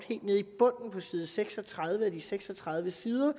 side seks og tredive af de seks og tredive sider